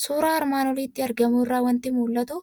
Suuraa armaan olitti argamu irraa waanti mul'atu;